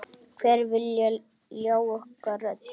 Hver vill ljá okkur rödd?